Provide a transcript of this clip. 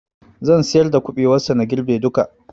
Zan siyar da kuɓewar sa na girbe duka